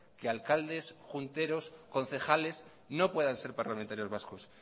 que alcaldes junteros concejales no puedan ser parlamentarios vascos